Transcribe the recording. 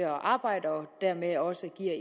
arbejde og dermed også giver